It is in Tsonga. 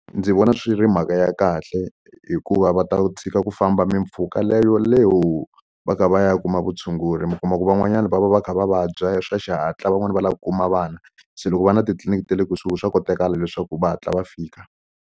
Ndzi vona swi ri mhaka ya kahle hikuva va ta tshika ku famba mimpfhuka le yoleyo va kha va ya kuma vutshunguri mi kuma ku van'wanyani va va va kha va vabya swa xihatla van'wani va lava ku kuma vana se loko ku va na titliliniki ta le kusuhi swa kotakala leswaku va hatla va fika.